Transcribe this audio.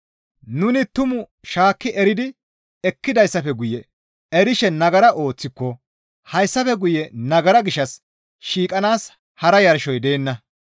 Nuni tumaa shaakki eridi ekkidayssafe guye erishe nagara ooththiko hayssafe guye nagara gishshas shiiqanaas hara yarshoy deenna.